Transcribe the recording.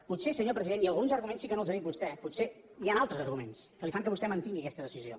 potser senyor president i alguns arguments sí que no els ha dit vostè potser hi han altres arguments que fan que vostè mantingui aquesta decisió